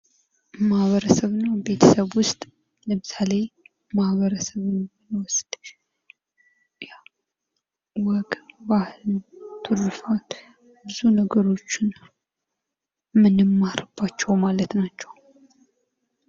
ማህበረሰብ እና ቤተሰብ ውስጥ ለምሳሌ ማህበረሰብ ውስጥ ያው ወግ፣ ባህል፣ ትሩፋት ብዙ ነገሮችን ምንማርባቸው ማለት ናቸው።